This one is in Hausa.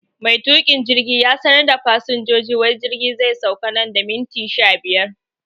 Mai tukin jirgi ya sanar da fasinjoji wai jirgi zai sauka nan da minti sha biyar